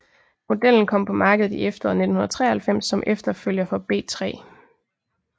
Modellen kom på markedet i efteråret 1993 som efterfølger for B3